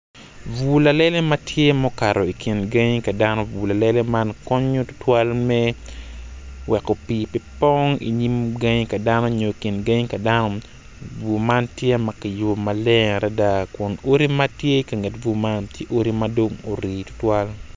Bur lalele ma tye mukato i kin gangi ka dano bur lalele man konyo me tutwal me weko pii pe pong inyim gangi ka dano onyo i kin gangi ka dano bur man tye ma kiyubu maleng adida kun odi ma tye i ka nget bur man ti odi madong guri tutwal